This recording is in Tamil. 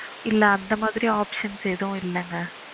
இல்ல அந்த மாரி options எதுவும் இல்லங்க